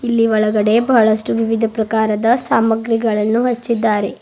ಇಲ್ಲಿ ಒಳಗಡೆ ಬಹಳಷ್ಟು ವಿವಿಧ ಪ್ರಕಾರದ ಸಾಮಗ್ರಿಗಳನ್ನು ಹಚ್ಚಿದ್ದಾರೆ.